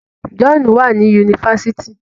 John wá ní Yunifásitì.